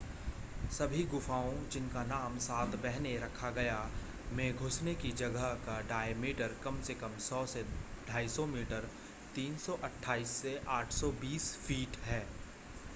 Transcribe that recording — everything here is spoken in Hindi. सभी गुफाओं जिनका नाम सात बहनें” रखा गया में घुसने की जगह का डायमीटर कम से कम 100 से 250 मीटर 328 से 820 फ़ीट है